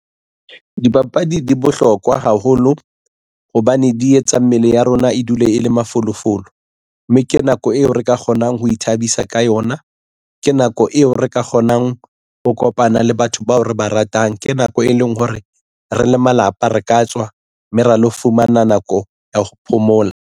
Dipapadi di bohlokwa haholo hobane di etsa mmele ya rona dule e le mafolofolo mme ke nako eo re ka kgonang ho ithabisa ka yona ke nako eo re ka kgonang ho kopana le batho bao re ba ratang. Ke nako e leng hore re le malapa re ka tswa mme ra lo fumana nako ya ho phomola.